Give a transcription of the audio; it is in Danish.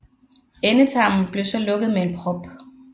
Endetarmen blev så lukket med en prop